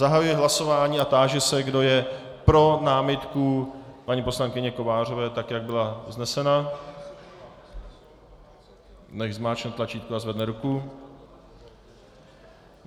Zahajuji hlasování a táži se, kdo je pro námitku paní poslankyně Kovářové tak, jak byla vznesena, nechť zmáčkne tlačítko a zvedne ruku.